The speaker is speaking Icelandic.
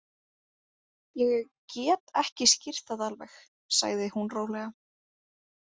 Ég get ekki skýrt það alveg, sagði hún rólega.